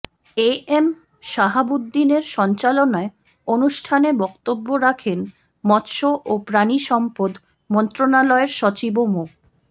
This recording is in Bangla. এ এম সাহাবউদ্দিনের সঞ্চালনায় অনুষ্ঠানে বক্তব্য রাখেন মৎস্য ও প্রাণিসম্পদ মন্ত্রনালয়ের সচিব মো